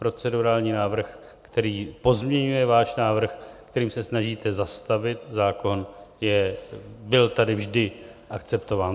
Procedurální návrh, který pozměňuje váš návrh, kterým se snažíte zastavit zákon, byl tady vždy akceptován.